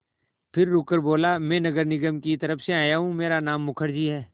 फिर रुककर बोला मैं नगर निगम की तरफ़ से हूँ मेरा नाम मुखर्जी है